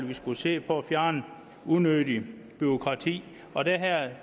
vi skulle se på at fjerne unødigt bureaukrati og det her